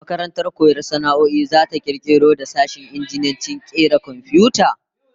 Makarantar koyon sana'o'in zata kirkiro da sashen injiniyancin kera komfiyuta